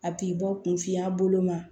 A b'i bɔ kunfinya bolo ma